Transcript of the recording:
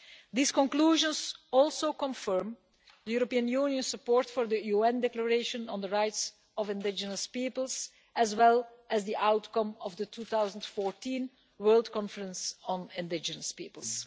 These conclusions also confirm the European Union's support for the UN Declaration on the Rights of Indigenous Peoples, as well as the outcome of the 2014 World Conference on Indigenous Peoples.